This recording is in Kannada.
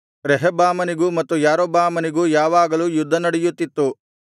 ರೆಹಬ್ಬಾಮನಿಗೂ ಮತ್ತು ಯಾರೊಬ್ಬಾಮನಿಗೂ ಯಾವಾಗಲೂ ಯುದ್ಧನಡೆಯುತ್ತಿತ್ತು